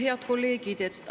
Head kolleegid!